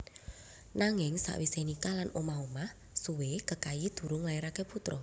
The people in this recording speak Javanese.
Nanging sawisé nikah lan omah omah suwé Kekayi durung nglairaké putra